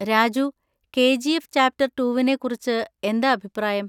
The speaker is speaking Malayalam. രാജു, കെ. ജി. എഫ് ചാപ്റ്റർ റ്റൂവിനെ കുറിച്ച് എന്താ അഭിപ്രായം?